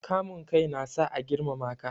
Kamun kai na sa a girmama ka.